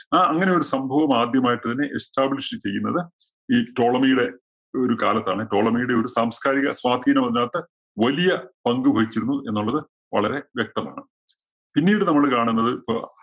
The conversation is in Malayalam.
ആ അങ്ങനെയൊരു സംഭവം ആദ്യമായിട്ട് തന്നെ establish ചെയ്യുന്നത് ഈ ടോളമിയുടെ ഒരു കാലത്താണ്. ടോളമിയുടെ ഒരു സംസ്കാരിക സ്വാധീനം അതിനകത്ത് വലിയ പങ്കു വഹിച്ചിരുന്നു എന്നുള്ളത് വളരെ വ്യക്തമാണ്‌. പിന്നീട് നമ്മള് കാണുന്നത് ഇപ്പൊ